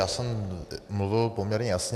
Já jsem mluvil poměrně jasně.